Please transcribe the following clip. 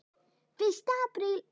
Fyrsta apríl.